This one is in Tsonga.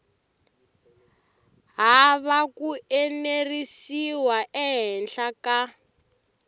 hava ku enerisiwa ehenhla ka